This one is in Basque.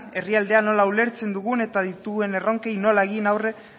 herrialdea nola ulertzen dugun eta ditugun erronkei nola egin aurre